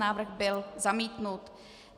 Návrh byl zamítnut.